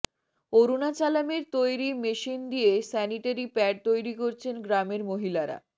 অরুণাচালামের তৈরি মেশিন দিয়ে sanitary pad তৈরি করছেন গ্রামের মহিলারা